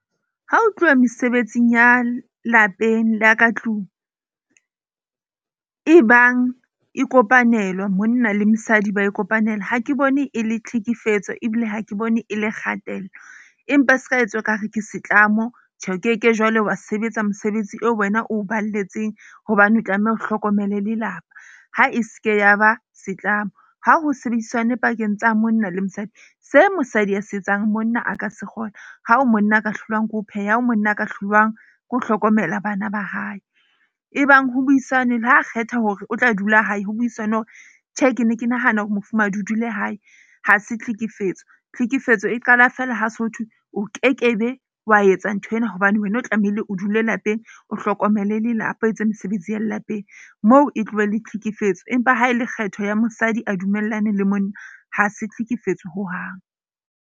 Ha ho tluwa mesebetsing ya lapeng la ka tlung e bang e kopanelwa, monna le mosadi ba e kopanela. Ha ke bone e le tlhekefetso, ebile ha ke bone e le kgatello, empa se ka etswa ekare ke setlamo, Tjhe, o keke jwale wa sebetsa mosebetsi eo wena o balletseng hobane o tlameha o hlokomele lelapa. Ha e ske ya ba setlamo. Ha ho sebedisane pakeng tsa monna le mosadi se mosadi a se etsang, monna a ka se kgona ha ho monna a ka hlolwang ke ho pheha, ha ho monna a ka hlolwang ke ho hlokomela bana ba hae. Ebang ho buisanwe le ha kgetha hore o tla dula hae, ho buisanwe hore tjhe, ke ne ke nahana hore mofumahadi o dule hae, ha se tlhekefetso. Tlhekefetso e qala feela ha so thwe o kekebe, wa etsa nthwena. Hobane wena o tlamehile o dule lapeng, o hlokomele lelapa. Etse mesebetsi ya lapeng moo e tlohe e le tlhekefetso. Empa ha e le kgetho ya mosadi a dumellane le monna, ha se tlhekefetso hohang.